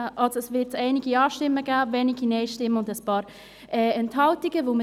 Da wird es einige Ja-Stimmen, einige Nein-Stimmen und einige Enthaltungen geben.